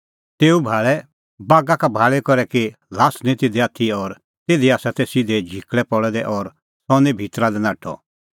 तेऊ भाल़ै बागा का भाल़ी करै कि ल्हास निं तिधी आथी और तिधी तै सिधै झिकल़ै पल़ै दै और सह निं भितरा लै नाठअ